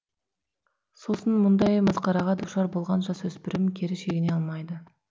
сосын мұндай масқараға душар болған жасөспірім кері шегіне алмайды